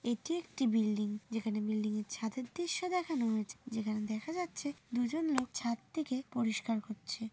এটি একটি বিল্ডিং যেখানে বিল্ডিং এর ছাদের দৃশ্য দেখানো হয়েছে যেখানে দেখা যাচ্ছে দুজন লোক ছাদটিকে পরিষ্কার করছে।